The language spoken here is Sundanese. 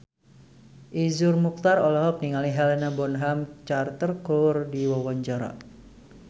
Iszur Muchtar olohok ningali Helena Bonham Carter keur diwawancara